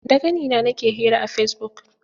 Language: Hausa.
Da ƙanina nake hira a Fesibuk.